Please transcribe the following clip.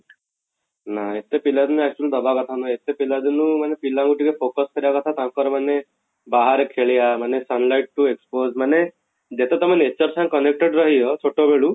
ନା ଏତେ ପିଲା ରୁ ନା actually ଦବା କଥା ନୁହେଁ ଏତେ ପିଲା ଦିନୁ ମାନେ ପିଲା ଙ୍କୁ ଟିକେ focus କରିବା କଥା ତାଙ୍କର ମାନେ ବାହାରେ ଖେଳିବା ମାନେ sunlight କୁ expose ମାନେ ଯେତେ ତମେ nature ସାଙ୍ଗେ connected ରହିବ ଛୋଟ ବେଳୁ